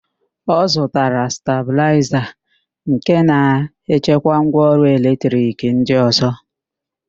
Ọ zụtara stabịlaịza nke na-echekwa ngwaọrụ eletrik ndị ọ̀zọ́.